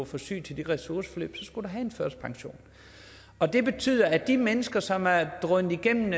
for syg til de ressourceforløb så skulle du have en førtidspension og det betyder at de mennesker som er drønet igennem